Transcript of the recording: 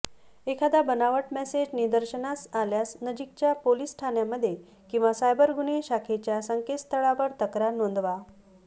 एखादा बनावट मेसेज निदर्शनास आल्यास नजीकच्या पोलिस ठाण्यामध्ये किंवा सायबर गुन्हे शाखेच्या संकेतस्थळावर तक्रार नोंदवा